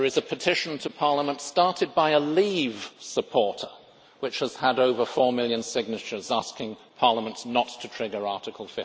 There is a petition to Parliament, started by a Leave supporter, which has had over 4 million signatures asking Parliament not to trigger Article